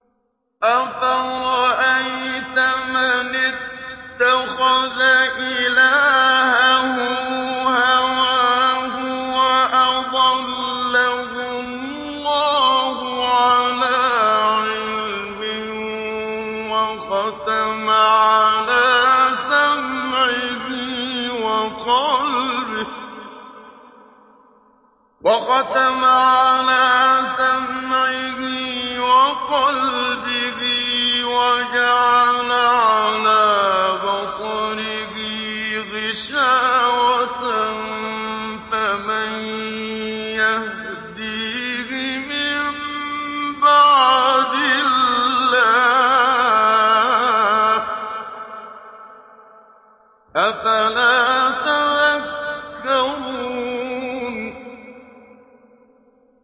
أَفَرَأَيْتَ مَنِ اتَّخَذَ إِلَٰهَهُ هَوَاهُ وَأَضَلَّهُ اللَّهُ عَلَىٰ عِلْمٍ وَخَتَمَ عَلَىٰ سَمْعِهِ وَقَلْبِهِ وَجَعَلَ عَلَىٰ بَصَرِهِ غِشَاوَةً فَمَن يَهْدِيهِ مِن بَعْدِ اللَّهِ ۚ أَفَلَا تَذَكَّرُونَ